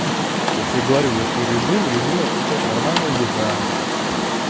я тебе говорю если режим режим это блять нормальная еда